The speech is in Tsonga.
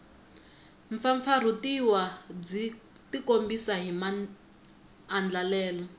mpfampfarhutiwa byi tikombisa hi maandlalelo